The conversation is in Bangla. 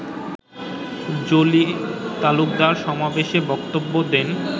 জলি তালুকদার সমাবেশে বক্তব্য দেন